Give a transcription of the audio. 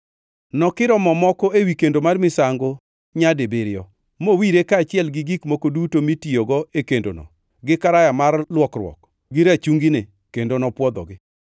Nokiro mo moko ewi kendo mar misango nyadibiriyo, mowire kaachiel gi gik moko duto mitiyogo e kendono gi karaya mar luokruok gi rachungine, kendo nopwodhogi.